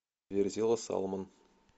верзила салмон